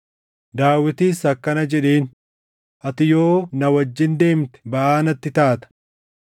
Daawitis akkana jedheen, “Ati yoo na wajjin deemte baʼaa natti taata.